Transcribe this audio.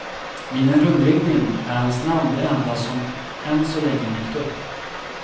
Vid en rundringning är hans namn det enda som än så länge dykt upp.